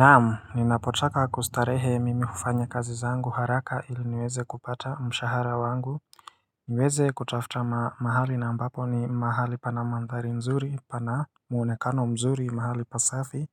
Naam ninapotaka kustarehe mimi hufanya kazi zangu haraka ili niweze kupata mshahara wangu niweze kutafuta mahali na mbapo ni mahali pana mandhari mzuri pana muunekano mzuri mahali pasafi